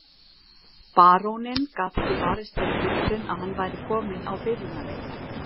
Baróninn gat ekki varist þeirri hugsun að hann væri kominn á byrjunarreit.